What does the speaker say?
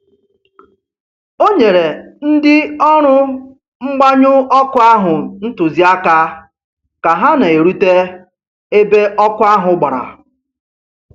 O nyere ndị ọrụ mgbanyụ ọkụ ahụ ntụziaka ka ha na-erute ebe ọkụ ahụ gbara.